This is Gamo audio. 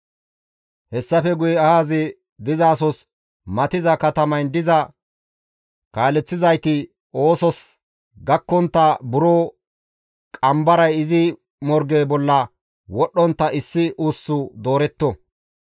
Hessafe guye ahazi dizasos matiza katamayn diza kaaleththizayti oosos gakkontta buro qambaray izi morge bolla wodhdhontta issi ussu dooretto.